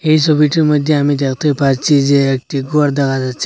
এই ছবিটির মধ্যে আমি দেখতে পারছি যে একটি ঘর দেখা যাচ্ছে।